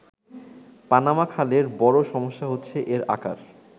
Panama খালের বড়ো সমস্যা হচ্ছে এর আকার।